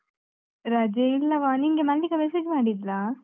ರಜೆ ಇಲ್ಲವಾ, ನಿಂಗೆ ಮಲ್ಲಿಕ message ಮಾಡಿದ್ಲಾ?